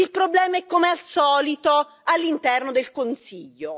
Il problema è, come al solito, all'interno del Consiglio.